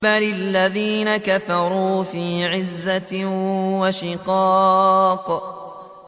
بَلِ الَّذِينَ كَفَرُوا فِي عِزَّةٍ وَشِقَاقٍ